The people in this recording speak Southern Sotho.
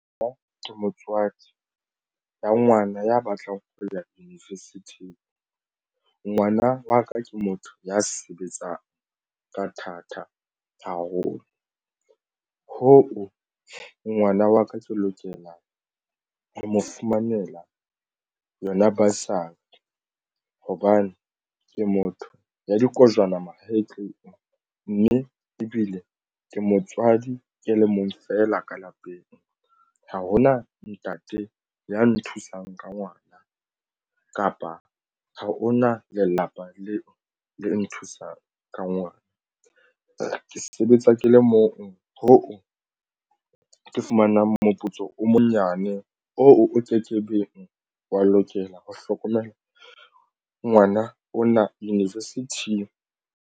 Moo ke motswadi ya ngwana ya batlang ho ya university ngwana wa ka ke motho ya sebetsang ka thata haholo hoo ngwana wa ka ke lokelang ho mo fumanela yona bursary hobane ke motho ya dikojwana mahetleng mme ebile ke motswadi ke le mong fela ka lapeng. Ha hona ntate ya nthusang ka ngwana kapa ha o na lelapa leo le nthusang ka ngwana ke sebetsa ke le mong ho ke fumanang moputso o monyenyane oo o ke ke beng wa lokela ho hlokomela ngwana o na university.